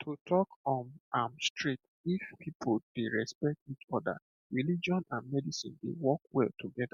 to talk um am straight if people dey respect each other religion and medicine dey work well together